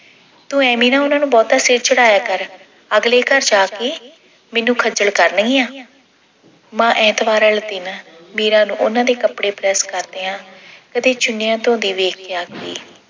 ਤੂੰ ਐਂਵੇ ਨਾ ਉਹਨਾਂ ਨੂੰ ਬਹੁਤਾ ਸਿਰ ਚੜਾਇਆ ਕਰ ਅਗਲੇ ਘਰ ਜਾ ਕੇ ਮੈਨੂੰ ਖੱਜਲ ਕਰਨਗੀਆਂ। ਮਾਂ ਐਤਵਾਰ ਵਾਲੇ ਦਿਨ ਮੀਰਾਂ ਨੂੰ ਉਹਨਾਂ ਦੇ ਕੱਪੜੇ ਪ੍ਰੈੱਸ ਕਰਦਿਆਂ ਕਦੀ ਚੁੰਨਿਆਂ ਧੋਂਦੀ ਵੇਖਕੇ ਆਖਦੀ।